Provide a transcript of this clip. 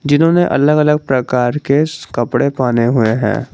जिन्होंने अलग अलग प्रकार के कपड़े पहने हुए हैं।